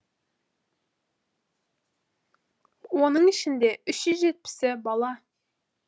оның ішінде үш жүз жетпісі бала